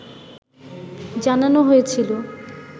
জানানো হয়েছিল